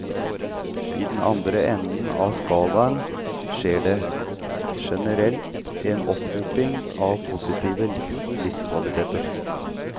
I den andre enden av skalaen skjer det, generelt, en opphopning av positive livskvaliteter.